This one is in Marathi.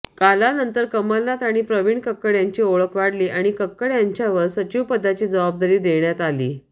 कालानंतर कमलनाथ आणि प्रविण कक्कड यांची ओळख वाढली आणि कक्कड यांच्यावर सचिवपदाची जबाबदारी देण्यात आली